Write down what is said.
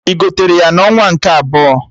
Ị gotere ya na onwa nke ebọ?